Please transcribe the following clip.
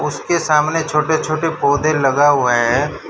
उसके सामने छोटे छोटे पौधे लगा हुआ है।